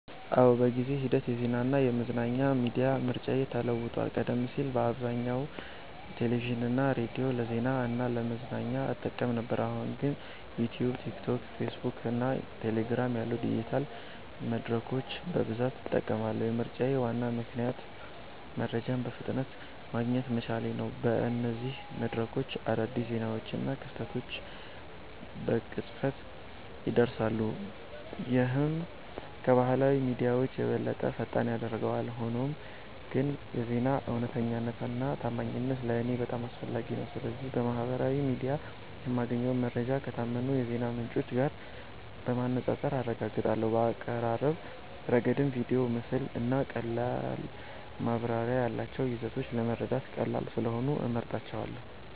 አዎ፣ በጊዜ ሂደት የዜናና የመዝናኛ ሚዲያ ምርጫዬ ተለውጧል። ቀደም ሲል በአብዛኛው ቴሌቪዥንና ሬዲዮን ለዜና እና ለመዝናኛ እጠቀም ነበር፣ አሁን ግን ዩትዩብ፣ ቲክቶክ፣ ፌስቡክ እና ቴሌግራም ያሉ ዲጂታል መድረኮችን በብዛት እጠቀማለሁ። የምርጫዬ ዋና ምክንያት መረጃን በፍጥነት ማግኘት መቻሌ ነው። በእነዚህ መድረኮች አዳዲስ ዜናዎችና ክስተቶች በቅጽበት ይደርሳሉ፣ ይህም ከባህላዊ ሚዲያዎች የበለጠ ፈጣን ያደርጋቸዋል። ሆኖም ግን የዜና እውነተኛነትና ታማኝነት ለእኔ በጣም አስፈላጊ ነው። ስለዚህ በማህበራዊ ሚዲያ የማገኘውን መረጃ ከታመኑ የዜና ምንጮች ጋር በማነጻጸር አረጋግጣለሁ። በአቀራረብ ረገድም ቪዲዮ፣ ምስል እና ቀላል ማብራሪያ ያላቸው ይዘቶች ለመረዳት ቀላል ስለሆኑ እመርጣቸዋለ